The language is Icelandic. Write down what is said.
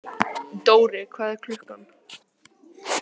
Dóri, hvað er klukkan?